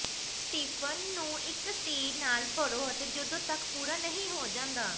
Stephen ਨੂੰ ਇੱਕ ਸਟੀਰ ਨਾਲ ਭਰੋ ਅਤੇ ਜਦੋਂ ਤੱਕ ਪੂਰਾ ਨਹੀਂ ਹੋ ਜਾਂਦਾ